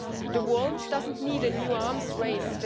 The world doesn't need a new arms